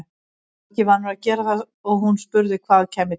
Hann var ekki vanur að gera það og hún spurði hvað kæmi til.